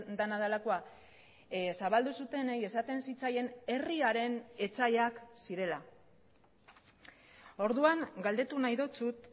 dena delakoa zabaldu zutenei esaten zitzaien herriaren etsaiak zirela orduan galdetu nahi dizut